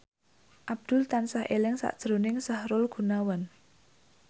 Abdul tansah eling sakjroning Sahrul Gunawan